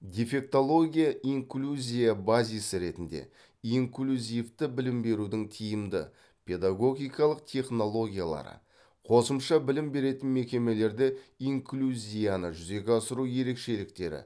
дефектология инклюзия базисі ретінде инклюзивті білім берудің тиімді педагогикалық технологиялары қосымша білім беретін мекемелерде инклюзияны жүзеге асыру ерекшеліктері